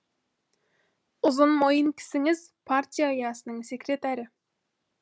ұзын мойын кісіңіз партия ұясының секретарі